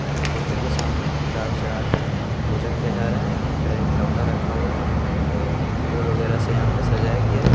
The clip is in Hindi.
ओ फोटो के सामने किताब चढ़ा कर पूजा किया जा रहा यहाँ पे लोटा रखा हुआ है और फूल वेगरा से यहाँ पे सजाया गया है ।